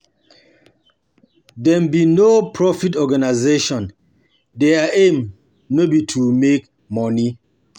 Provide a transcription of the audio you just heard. Dem be no-profit organisation their aim no be to make money